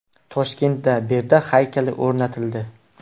Toshkentda Berdaq haykali o‘rnatildi.